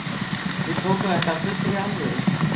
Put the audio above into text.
Við tókum þetta af fullri alvöru.